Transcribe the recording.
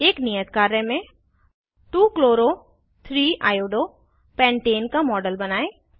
एक नियत कार्य में 2 chloro 3 iodo पेंटाने का मॉडल बनायें